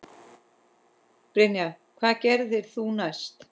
Brynja: Hvað gerðir þú næst?